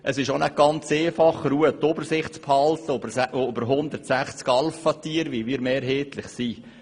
Es ist auch nicht ganz einfach, die Ruhe und die Übersicht über 160 Alphatiere zu behalten, wie wir sie mehrheitlich sind.